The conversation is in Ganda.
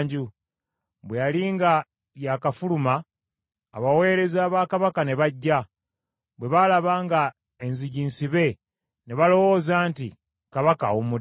Bwe yali nga yakafuluma abaweereza ba kabaka ne bajja. Bwe baalaba nga enzigi nsibe ne balowooza nti, “Kabaka ateekwa okuba ng’agenze manju.”